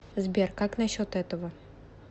сбер как на счет этого